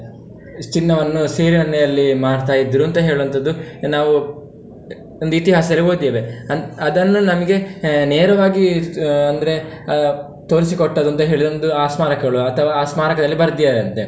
ಚಿನ್ನವನ್ನು ಸೀರೆ ಮಾಡ್ತಾ ಇದ್ರು ಅಂತ ಹೇಳುವಂತದ್ದು, ನಾವು ಒಂದು ಇತಿಹಾಸದಲ್ಲಿ ಓದಿದ್ದೇವೆ, ಅ~ ಅದನ್ನು ನಮ್ಗೆ ನೇರವಾಗಿ ಅಂದ್ರೆ ಆ ತೋರಿಸಿಕೊಟ್ಟದ್ದುಂತ ಹೇಳಿದ್ರೆ ಒಂದು ಆ ಸ್ಮಾರಕಗಳು ಅಥವಾ ಆ ಸ್ಮಾರಕದಲ್ಲಿ ಬರ್ದಿದ್ದಾರಂತೆ.